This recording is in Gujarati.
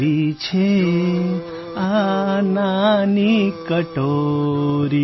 કેવી છે આ નાની કટોરી